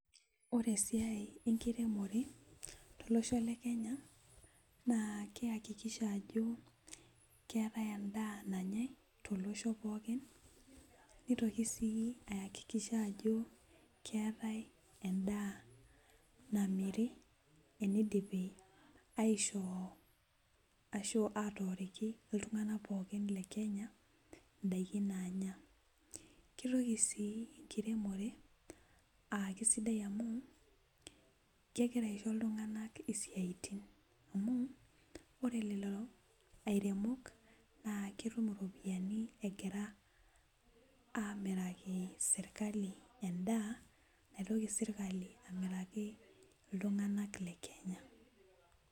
Ore esiai enkiremore tolosho le kenya naa keyakikisha ajo keetae endaa nanyae tolosho pookin nitoki sii ayakikisha ajo keetae endaa namiri enidipi aishoo ashu atooriki iltung'ana pookin le kenya indaiki naanya kitoki sii enkiremore uh kisidai amu kekira aisho iltung'anak isiaitin amu ore lelo airemok naa ketum iropiani egira amiraki sirkali endaa naitoki sirkali amiraki iltung'anak le kenya.